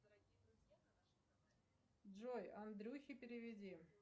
джой андрюхе переведи